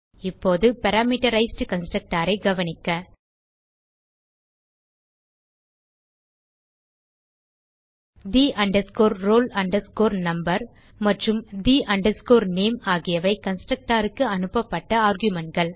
இப்போது parameterized constructor ஐ கவனிக்க the roll number மற்றும் the name ஆகியவை கன்ஸ்ட்ரக்டர் க்கு அனுப்பப்பட்ட argumentகள்